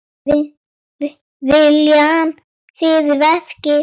Taktu viljann fyrir verkið.